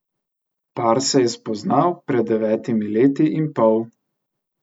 Par se je spoznal pred devetimi leti in pol.